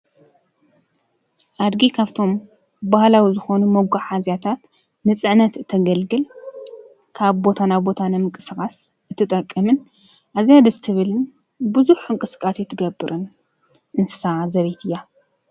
ኣድጊ ካብቶሞ ባህላዊ ዝኾኑ መጓዓዝያታት ንፅዕነት እተገልግል ካብ ቦታ ናብ ቦታ ንምንቅስቃስ እትጥቅምን ኣዝያ ደስ ትብል ብዝሕ እንቅስቃሰ ትገብርን አንስሳ ዘቤት እያ፡፡